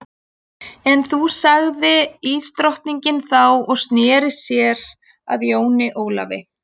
En þú sagði ísdrottningin þá og sneri sér að Jóni Ólafi.